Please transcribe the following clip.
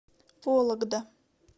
вологда